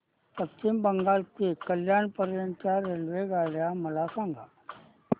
पश्चिम बंगाल ते कल्याण पर्यंत च्या रेल्वेगाड्या मला सांगा